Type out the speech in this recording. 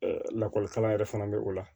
lakɔlikara yɛrɛ fana bɛ o la